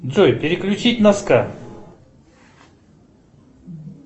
джой переключить на ска